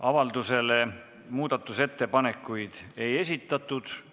Avalduse kohta muudatusettepanekuid ei ole esitatud.